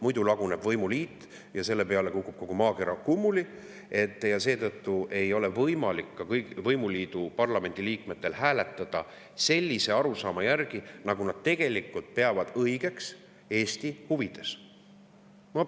Muidu laguneb võimuliit ja selle peale kukub kogu maakera kummuli ning seetõttu ei ole võimalik võimuliidu parlamendiliikmetel hääletada lähtudes arusaamast, nagu nad tegelikult peavad õigeks Eesti huvides hääletada.